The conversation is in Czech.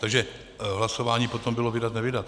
Takže hlasování potom bylo vydat - nevydat.